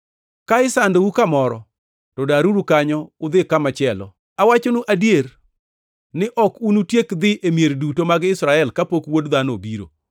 Ka isandou kamoro, to daruru kanyo udhi kamachielo. Awachonu adier ni ok unutiek dhi e mier duto mag Israel kapok Wuod Dhano obiro.